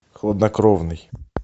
хладнокровный